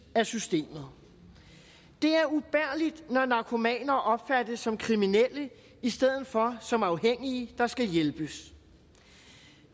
af systemet det er ubærligt når narkomaner opfattes som kriminelle i stedet for som afhængige der skal hjælpes